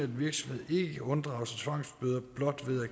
virksomhed ikke kan unddrage sig tvangsbøder blot ved at